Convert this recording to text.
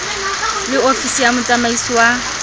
le ofisi ya motsamaisi wa